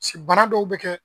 bana dɔw bi kɛ